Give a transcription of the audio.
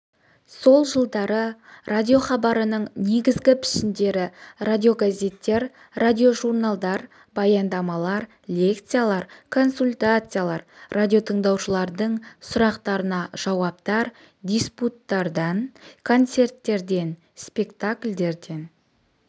сол жылдары радиохабарының негізгі пішіндері радиогазеттер радиожурналдар баяндамалар лекциялар консультациялар радиотыңдаушылардың сұрақтарына жауаптар диспуттардан концерттерден спектакльдерден